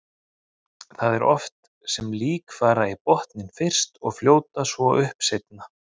Það er oft sem lík fara í botninn fyrst og fljóta svo upp seinna.